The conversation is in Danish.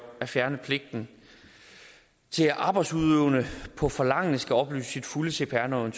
at fjerne pligten til at en arbejdsudøvende på forlangende skal oplyse sit fulde cpr nummer